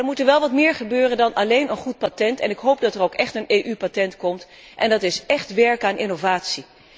Maar dan moet er wel wat meer gebeuren dan alleen een goed patent, en ik hoop dat er ook echt een goed EU patent komt, dat is écht werken aan innovatie.